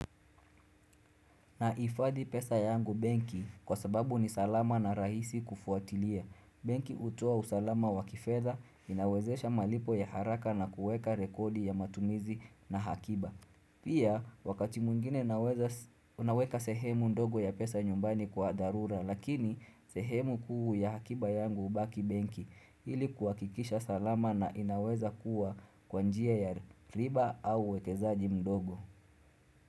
Nahifadhi pesa yangu benki kwa sababu ni salama na rahisi kufuatilia. Benki hutoa usalama wa kifedha inawezesha malipo ya haraka na kuweka rekodi ya matumizi na hakiba. Pia wakati mwingine naweza naweka sehemu ndogo ya pesa nyumbani kwa dharura lakini sehemu kuu ya hakiba yangu hubaki benki ili kuhakikisha salama na inaweza kuwa kwa njia ya riba au uwekezaji mdogo.